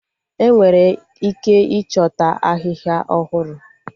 Enwere ike ịchọta Ahịhịa ọhụrụ